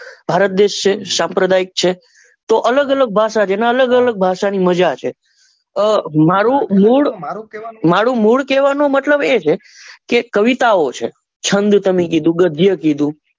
ભારત દેશ છે સાંપ્રદાયિક છે તો અલગ અલગ ભાષા જેની અલગ અલગ મજા છે અ માંરુ મૂળ કેવા મતલબ એ છે કે કવિતા ઓ છે છંદ તમે કીધું ગધ્ય કીધું.